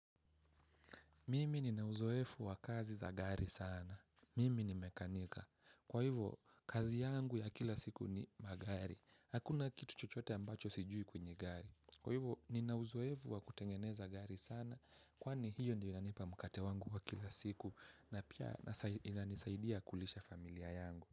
Mimi ninauzoefu wa kazi za gari sana. Mimi ni mekanika. Kwa hivyo, kazi yangu ya kila siku ni magari. Hakuna kitu chochote ambacho sijui kwenye gari. Kwa hivyo, ninauzoefu wa kutengeneza gari sana kwani hiyo ndio inanipa mkate wangu wa kila siku na pia inanisaidia kulisha familia yangu.